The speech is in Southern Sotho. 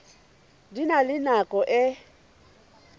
di na le nako e